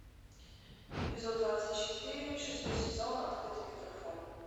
эпизод двадцать четыре шестой сезон открытый микрофон